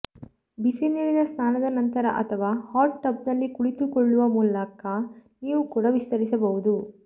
ಬಿಸಿನೀರಿನ ಸ್ನಾನದ ನಂತರ ಅಥವಾ ಹಾಟ್ ಟಬ್ನಲ್ಲಿ ಕುಳಿತುಕೊಳ್ಳುವ ಮೂಲಕ ನೀವು ಕೂಡ ವಿಸ್ತರಿಸಬಹುದು